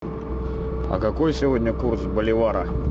а какой сегодня курс боливара